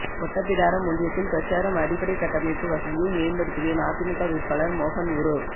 ஓட்டப்பிடாரம் ஒன்றியத்தில் பிரசாரம் அடிப்படை கட்டமைப்பு வசதியை மேம்படுத்துவேன் அதிமுக வேட்பாளர் மோகன் உறு